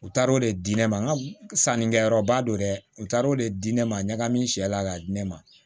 U taar'o de di ne ma n ka sannikɛyɔrɔba don dɛ u taara o de di ne ma ɲagami sɛ la k'a di ne ma